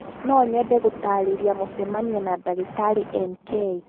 No nyende kũtaarĩria mũcemanio na ndagĩtarĩ N.K